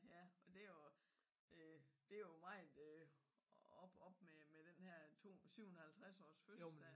Ja og det jo øh det jo meget øh op op med med den er 2 750 års fødselsdag